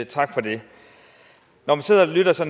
tak for det når jeg sidder og lytter til